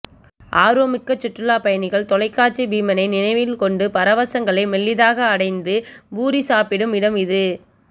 ஆர்வம் மிக்க சுற்றுலாப்பயணிகள் தொலைக்காட்சி பீமனை நினைவில் கொண்டு பரவசங்களை மெல்லிதாக அடைந்து பூரி சாப்பிடும் இடம் இது